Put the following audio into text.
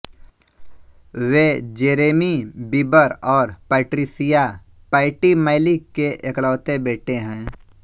वे Jeremy Bieber और Patricia Pattie Mallette के एकलौते बेटे हैं